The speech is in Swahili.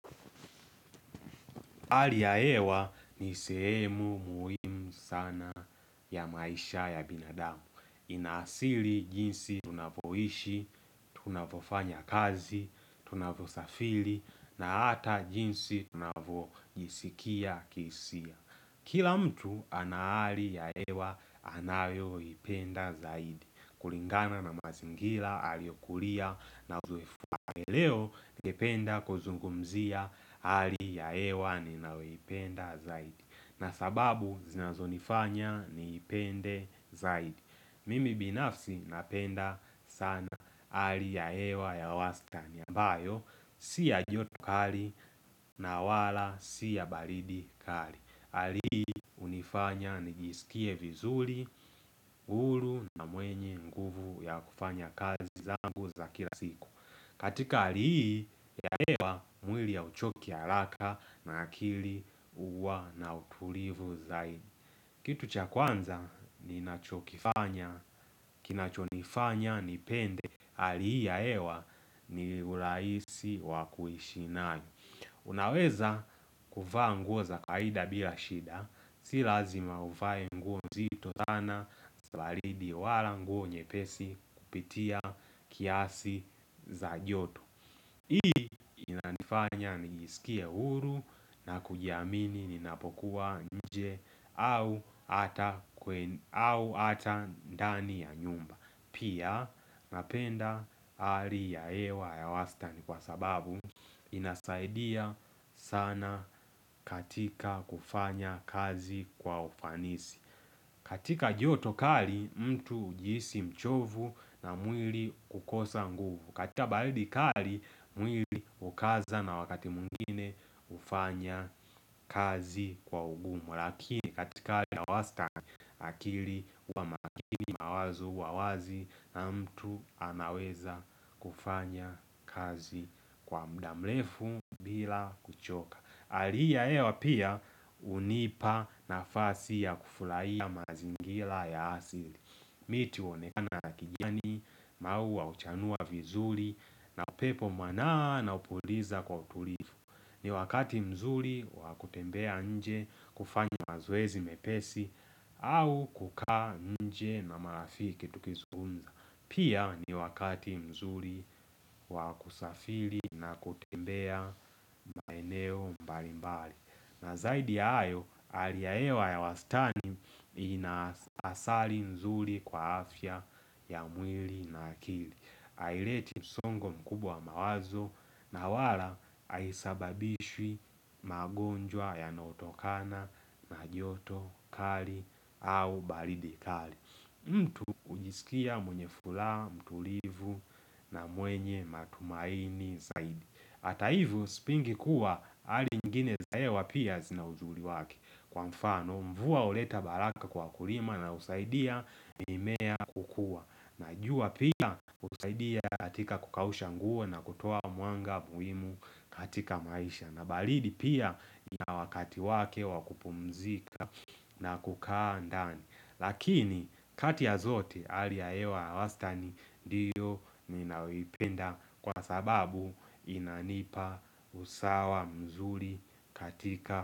Hali ya hewa ni sehemu muhimu sana ya maisha ya binadamu. Inasili jinsi tunavyoishi, tunavyofanya kazi, tunavyo safiri, na hata jinsi tunavojisikia kihisia. Kila mtu ana hali ya hewa anayo ipenda zaidi. Kulingana na mazingira aliyokulia na. Leo ningependa kuzungumzia hali ya hewa ninayoipenda zaidi na sababu zinazo nifanya niipende zaidi. Mimi binafsi napenda sana hali ya hewa ya wastani ambayo Si ya joto kali na wala si ya baridi kali. Hali hii hunifanya nijisikie vizuri huru na mwenye nguvu ya kufanya kazi zangu za kila siku. Katika hali hii ya hewa mwili hauchoki haraka na akili huwa na utulivu zaidi Kitu cha kwanza ninachokifanya, kinachonifanya nipende hali hii ya hewa ni urahisi wakuishi nai Unaweza kuvaa nguo za kawaida bila shida Si lazima uvae nguo nzito sana za baridi wala nguo nyepesi kupitia kiasi za joto Hii inanifanya nijisikie huru na kujiamini ninapokua nje au hata au hata ndani ya nyumba. Pia napenda hali ya hewa ya wastani kwa sababu inasaidia sana katika kufanya kazi kwa ufanisi. Katika joto kali mtu ujihisi mchovu na mwili kukosa nguvu. Katika baridi kali mwili hukaza na wakati mwingine hufanya kazi kwa ugumu lakini katika hali ya wastani, akili huwa makini mawazo huwa wazi na mtu anaweza kufanya kazi kwa muda mrefu bila kuchoka Hali hii ya hewa pia hunipa nafasi ya kufurahia mazingira ya asili miti huonekana ya kijiani, maua huchanua vizuri na upepo mwanana hupuliza kwa utulivu. Ni wakati mzuri wa kutembea nje, kufanya mazoezi mepesi au kukaa nje na marafiki tukizungumza. Pia ni wakati mzuri wa kusafiri na kutembea maeneo mbali mbali. Na zaidi hayo, hali ya hewa ya wastani, inasari mzuri kwa afya ya mwili na akili. Haileti msongo mkubwa wa mawazo na wala haisababishwi magonjwa yanayotokana na joto kali au baridi kali mtu hujisikia mwenye furaha, mtulivu na mwenye matumaini zaidi. Hata hivyo, sipingi kuwa hali nyingine za hewa pia zina uzuri wake. Kwa mfano, mvua huleta baraka kwa mkulima na husaidia mimea kukua. Najua pia husaidia katika kukausha nguo na kutoa mwanga muhimu katika maisha. Na baridi pia ina wakati wake wakupumzika na kukaa ndani Lakini kati ya zote, hali ya hewa ya wastani ndiyo ninayoipenda kwa sababu inanipa usawa mzuri katika.